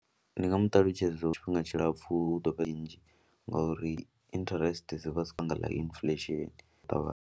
Ndi nga mu ṱalutshedza lwa tshifhinga tshilapfhu hu ḓo vha nnzhi ngauri interest dzi vha sokou nga ḽa inifulesheni u ṱavhanya.